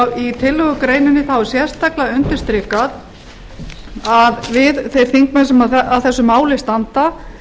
í tillögugreininni er sérstaklega undirstrikað að við þeir þingmenn sem að þessu máli standa